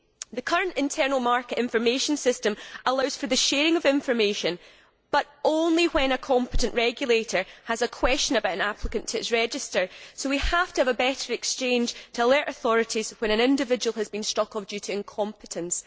The current internal market information system allows for the sharing of information, but only when a competent regulator has a question about an applicant to its register, so we have to have a better exchange to alert authorities when an individual has been struck off due to incompetence.